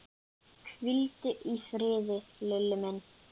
Hvíldu í friði, Lilli minn.